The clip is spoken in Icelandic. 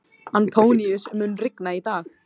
Antóníus, mun rigna í dag?